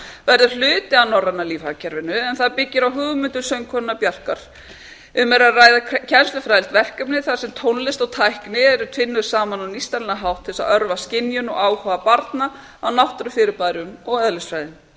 verður hluti af norræna lífhagkerfinu en það byggir á hugmyndum söngkonunnar bjarkar guðmundsdóttur um er að ræða kennslufræðilegt verkefni þar sem tónlist og tækni eru tvinnuð saman á nýstárlegan hátt til að örva skynjun og áhuga barna á náttúrufyrirbærum og eðlisfræði